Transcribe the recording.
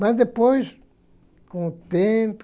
Mas depois, com o tempo,